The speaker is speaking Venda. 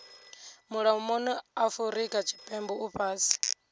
mulomoni afurika tshipembe u fhasi